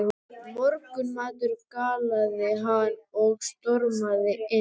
Morgunmatur galaði hann og stormaði inn.